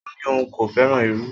O ni oun ko feran iru.